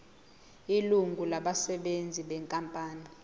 ilungu labasebenzi benkampani